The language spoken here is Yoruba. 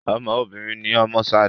Ọmọ obìnrin ni ọmọ Ṣadé